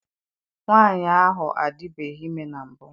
Nwaanyị ahụ adibeghi ime na mbụ.